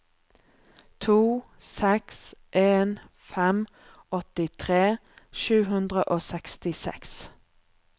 to seks en fem åttitre sju hundre og sekstiseks